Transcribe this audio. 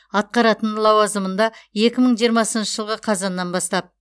атқаратын лауазымында екі мың жиырмасыншы жылғы қазаннан бастап